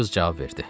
Qız cavab verdi.